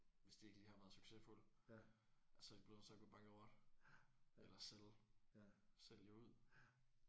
Hvis de ikke lige har været succesfuld og så er de blevet nødt til at gå bankerot eller sælge sælge ud